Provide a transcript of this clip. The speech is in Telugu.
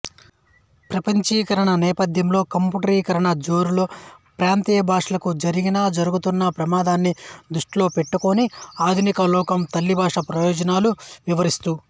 ప్రపంచీకరణ నేపథ్యంలో కంఫ్యూటరీకరణ జోరులో ప్రాంతీయ భాషలకు జరిగినజరుగుతున్న ప్రమాదాన్ని దృష్టిలోపెట్టుకొని ఆధునికలోకం తల్లిభాష ప్రయోజనాలు వివరిస్తూ